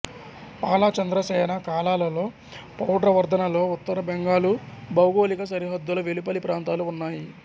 పాలా చంద్ర సేన కాలాలలో పౌడ్రవర్ధనలో ఉత్తర బెంగాలు భౌగోళిక సరిహద్దుల వెలుపలి ప్రాంతాలు ఉన్నాయి